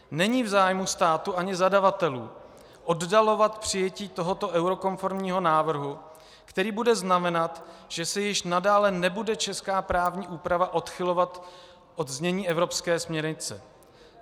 Není v zájmu státu ani zadavatelů oddalovat přijetí tohoto eurokonformního návrhu, který bude znamenat, že se již nadále nebude česká právní úprava odchylovat od znění evropské směrnice.